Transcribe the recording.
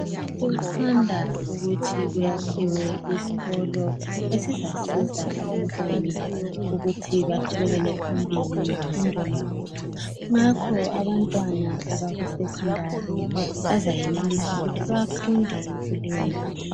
Kusanda ukuthi kuyakhiwe isikolo esizasiza abantwana ukuthi baqhubekele phambili ngemfundo yabo. Ngakho abantwana abaku secondary bazayenelisa ukuthi bafunde kuleyondawo.